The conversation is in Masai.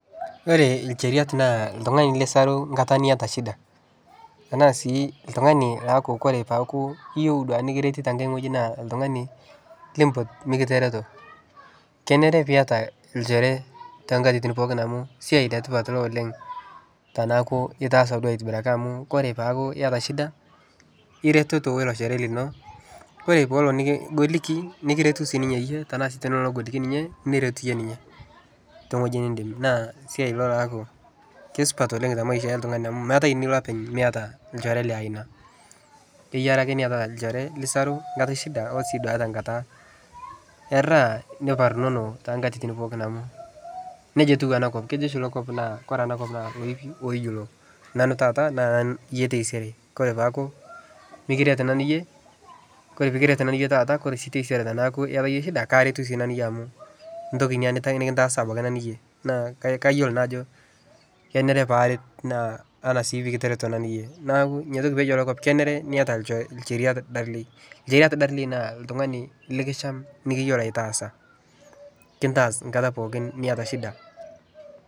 Ore incheriat naa oltung'ani lisaru nkata niataa shida ena sii oltungani ooyaku oree peeku iyieu nikiret nenkae wei naa oltungani liimpot mikitareto kenare piyata olchore tenakatitin pookin amu asiai ee tipat ina oleng` teneaku itaasa duo aitobiraki amuu oree peyaku iyata shida ireteto oo ilo shore lino oree peelo nikigoliki nikiretu sininye iye tenelo negoliki sinye niret iye ninye tee weji niindim naa esiai ilo laaku kesupat oleng` te maisha oltungani amuu meeta enilo openy miata olchore liaina kienare ake niatata olchore lisaru nkata oo sii duo te nkata eta niparnono too nkatitin pookin amu neija etiu ena kop kejo oshi inakop naa oree ena kop naa ilipi oyiolo nanu taata na iye taisere koree paaku mikiret nanuu iye ore peekiret iye nanu taata ore taisere teneaku iyata iye shida karetu sinanu iye amu entoki ina nikintasa nanu iye naa kayolo naa ajo kenare paaret naa ena sii pikitareto nanu iye neeku ina toki peeyiolo ena kop kenare niata ilchoreta darlei ilchoreta darlei naa oltungani likisham niyiolo aitasa kintas nkata pookin niyata shida.